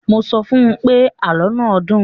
Mo sọ fún pé, àlọ́ náà dùn.